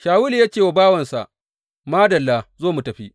Shawulu ya ce wa bawansa, Madalla, zo mu tafi.